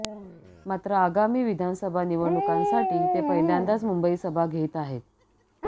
मात्र आगामी विधानसभा निवडणुकांसाठी ते पहिल्यांदाच मुंबईत सभा घेत आहे